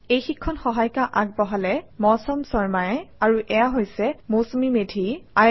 এই শিক্ষণ সহায়িকা আগবঢ়ালে ডেচিক্ৰিউ চলিউশ্যনছ পিভিটি